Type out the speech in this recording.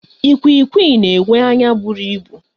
Ikwiikwii na-enwe anya bụrụ ịbụ.